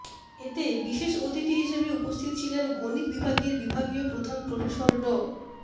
এতে বিশেষ অতিথি হিসেবে উপস্থিত ছিলেন গণিত বিভাগের বিভাগীয় প্রধান প্রফেসর ড